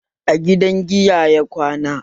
A gidan giya ya kwana